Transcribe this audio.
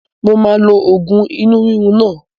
Mo máa lo oògùn inú rírun náà